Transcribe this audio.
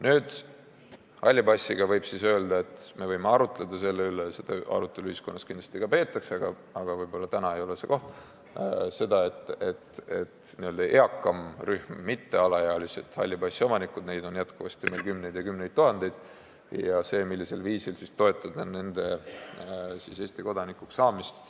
Nüüd, halli passiga seoses võime arutleda selle üle, et – seda arutelu ühiskonnas kindlasti ka peetakse, aga võib-olla täna siin ei ole selleks õige koht – kuna n-ö eakamat rühma, mittealaealisi halli passi omanikke on meil jätkuvalt kümneid ja kümneid tuhandeid, siis millisel viisil toetada nende Eesti kodanikuks saamist.